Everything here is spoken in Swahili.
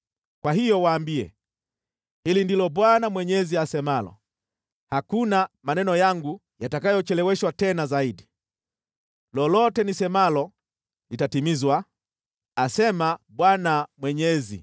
“Kwa hiyo, waambie, ‘Hili ndilo Bwana Mwenyezi asemalo: Hakuna maneno yangu yatakayocheleweshwa tena zaidi, lolote nisemalo litatimizwa, asema Bwana Mwenyezi.’ ”